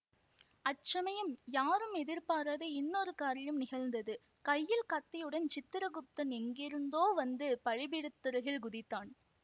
அச்சமயம் யாரும் எதிர்பாராத இன்னொரு காரியம் நிகழ்ந்தது கையில் கத்தியுடன் சித்திரகுப்தன் எங்கிருந்தோ வந்து பலி பீடத்தருகில் குதித்தான்